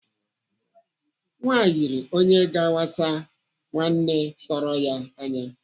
Nwa yiri onye ga-awasa nwanne tọrọ ya anya.